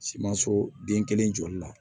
Simanso den kelen jɔli la